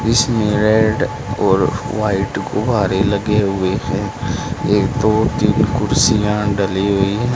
इसमें रेड और व्हाइट गुब्बारे लगे हुए हैं एक दो तीन कुर्सियां डली हुई--